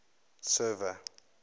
server